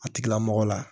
A tigila mɔgɔ la